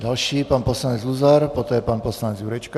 Další pan poslanec Luzar, poté pan poslanec Jurečka.